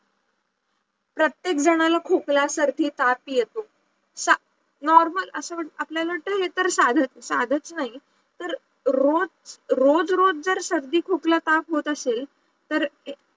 प्रत्येक जनाला खोकला, सर्दी, ताप येतो normal असं आपल्याला वाटते हे तर साधंच नाही तर रोज रोज जर सर्दी खोकला ताप होत असेल तर